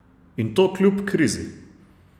In to kljub krizi!